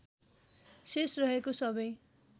शेष रहेको सबै